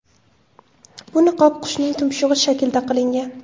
Bu niqob qushning tumshug‘i shaklida qilingan.